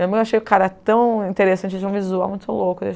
Eu meio achei o cara tão interessante, tinha um visual muito louco.